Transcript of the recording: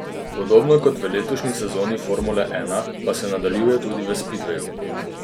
Podobno kot v letošnji sezoni formule ena, pa se nadaljuje tudi v spidveju.